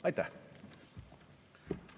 Aitäh!